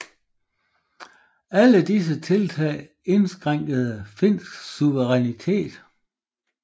Alle disse tiltag indskrænkede finsk suverænitet